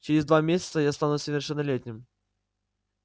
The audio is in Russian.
через два месяца я стану совершеннолетним